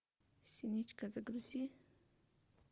синичка загрузи